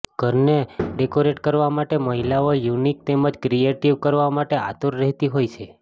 ઘરને ડેકોરેટ કરવા માટે મહિલાઓ યુનિક તેમજ ક્રિએટિવ કરવા માટે આતુર રહેતી હોય છે